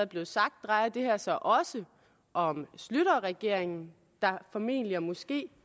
blevet sagt drejer det her sig også om schlüterregeringen der formentlig og måske